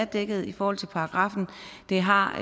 dækket i forhold til paragraffen det har